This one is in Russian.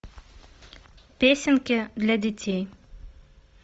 песенки для детей